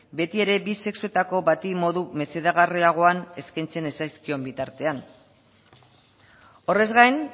beti ere bi sexuetako bati modu mesedegarriagoan eskaintzen ez zaizkion bitartean horrez gain